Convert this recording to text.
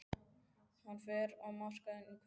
Hann fer á markaðinn í hverri viku.